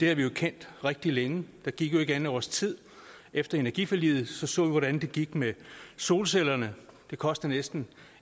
har vi jo kendt rigtig længe der gik jo ikke andet års tid efter energiforliget så så vi hvordan det gik med solcellerne det kostede næsten